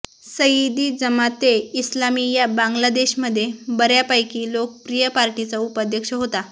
सयीदी जमाते इस्लामी या बांग्लादेशमध्ये बर्यापैकी लोकप्रिय पार्टीचा उपाध्यक्ष होता